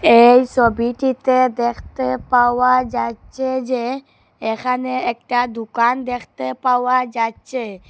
এই সোবিটিতে দেখতে পাওয়া যাচ্চে যে এখানে একটা দুকান দেখতে পাওয়া যাচ্চে ।